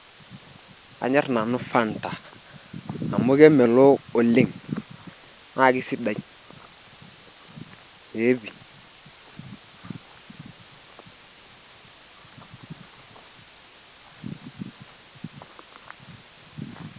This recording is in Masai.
Kanyorr nanu Fanta amu kemelook oleng naa keisidai, ee pii